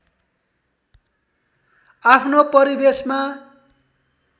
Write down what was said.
आफ्नो परिवेशमा